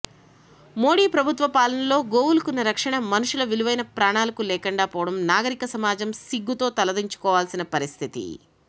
మోడీ ప్రభుత్వ పాలనలో గోవులకున్న రక్షణ మనుషుల విలువైన ప్రాణాలకు లేకుండా పోవటం నాగరిక సమాజం సిగ్గుతో తలదించుకోవలసిన పరిస్థితి